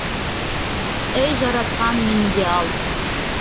ей жаратқан мені де ал